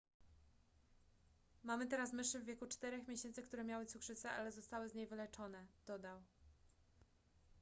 mamy teraz myszy w wieku 4 miesięcy które miały cukrzycę ale zostały z niej wyleczone dodał